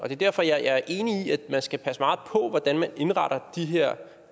er derfor jeg er enig i at man skal passe meget på hvordan man indretter de her